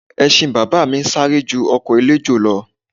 Ẹṣin bàbá mi ń sáré ju ọkọ̀ eléjò lọ